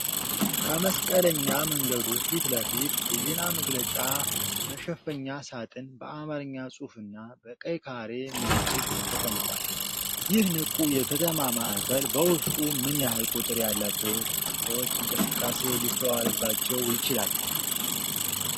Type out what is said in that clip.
ከመስቀለኛ መንገዱ ፊት ለፊት የዜና መግለጫ መሸፈኛ ሳጥን በአማርኛ ጽሑፍና በቀይ ካሬ ምልክት ተቀምጧል። ይህ ንቁ የከተማ ማዕከል በውስጡ ምን ያህል ቁጥር ያላቸው ሰዎች እንቅስቃሴ ሊስተዋልባቸው ይችላል?